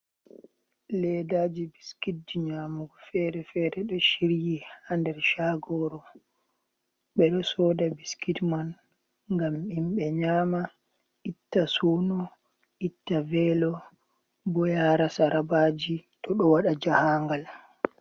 Ledaji biskitji nyamugo fere-fere ɗo shiryi ha nder shagoru. Ɓe ɗo soda biskit man ngam himɓe nyama, itta suno, itta velo, bo yara sarabaji to ɗo waɗa jahangal.